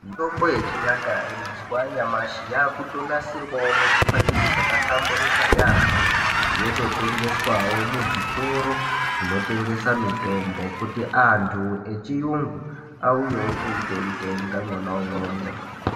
Mitambo yechinyakare mazuwa anyamashi akutonasirwawo muzvipakiji zvakahlamburika yeyamho yototengeswawo muzvitoro zvinotengesa mitombo kuti antu echiyungu auyewo eitoitenga mwona umwomwo.